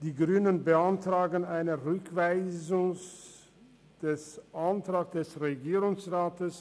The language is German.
Die Grünen beantragen eine Rückweisung des Antrags des Regierungsrats.